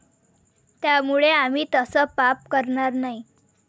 त्यामुळे आम्ही तसं पाप करणार नाही.